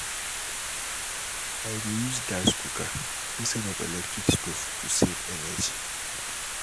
I dey use gas cooker instead of electric stove to save energy.